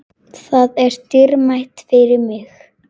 Það er dýrmætt fyrir mig.